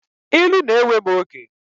Ilu na-ewe m oge.